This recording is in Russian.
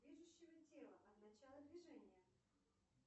движущего тела от начала движения